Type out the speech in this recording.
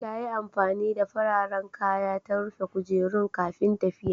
Ta yi amfani da fararen kaya ta rufe kujerun kafin tafiya.